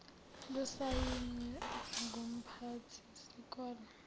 lusayinwe ngumphathi sikole